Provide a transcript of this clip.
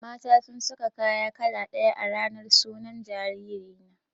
Mata sun sa kaya kala ɗaya a ranar sunan jariri na.